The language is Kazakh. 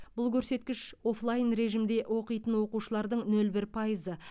бұл көрсеткіш офлайн режимде оқитын оқушылардың нөл бір пайызы